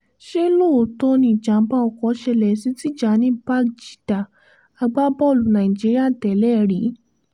ṣé lọ́ọ́tọ̀ọ́ ni ìjàm̀bá ọkọ̀ ṣẹlẹ̀ sí tijani bangida agbábọ́ọ̀lù nàìjíríà tẹ́lẹ̀ rí